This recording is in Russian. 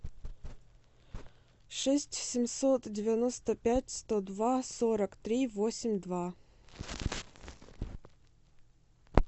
шесть семьсот девяносто пять сто два сорок три восемь два